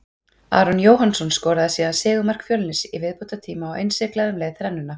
Aron Jóhannsson skoraði síðan sigurmark Fjölnis í viðbótartíma og innsiglaði um leið þrennuna.